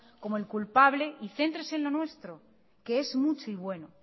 como el culpable y céntrese en lo nuestro que es mucho y bueno